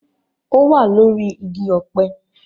Ó wà lórí igi ọ̀pẹ